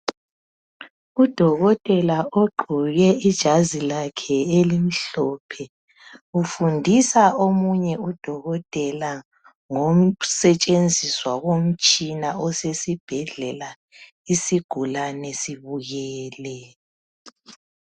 Udokotela ugqoke ijazilakhe elimhlophe ufundisa omunye udokotela ngokusetshenziswa komtshina osesibhedlela isigulani sibukele.